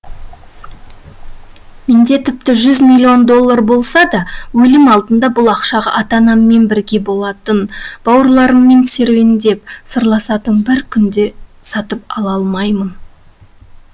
менде тіпті жүз миллион доллар болса да өлім алдында бұл ақшаға ата анаммен бірге болатын бауырларыммен серуендеп сырласатын бір күн де сатып ала алмаймын